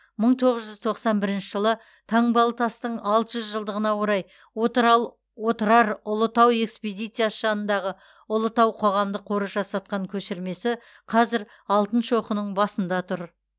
мың тоғыз жүз тоқсан бірінші жылы таңбалытастың алты жүз жылдығына орай отырар ұлытау экспедициясы жанындағы ұлытау қоғамдық қоры жасатқан көшірмесі қазір алтын шоқының басында тұр